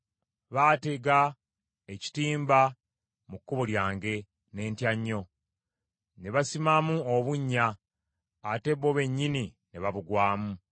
Baatega ekitimba mu kkubo lyange, ne ntya nnyo; ne basimamu obunnya, ate bo bennyini ne babugwamu.